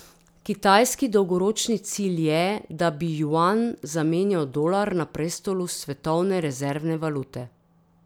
Kitajski dolgoročni cilj je, da bi juan zamenjal dolar na prestolu svetovne rezervne valute.